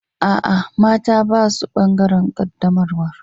Aa, mata ba su bangaren qaddamarwan.